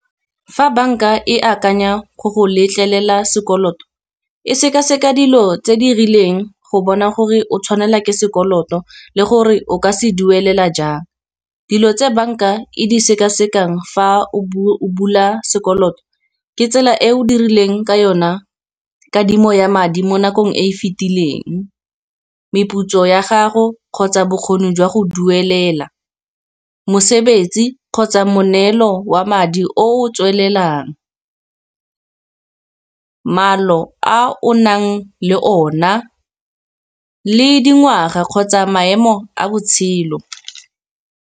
Fa bank-a e akanya go go letlelela sekoloto e seka-seka dilo tse di rileng, go bona gore o tshwanela ke sekoloto, le gore o ka se duelela jang. Dilo tse bank-a e di sekasekang fa o bula sekoloto, ke tsela e o dirileng ka yona kadimo ya madi mo nakong e e fitileng. Meputso ya gago kgotsa bokgoni jwa go duelela, mosebetsi kgotsa moneelo wa madi o tswelelang. Maalo a o nang le o na, le dingwaga kgotsa maemo a botshelo.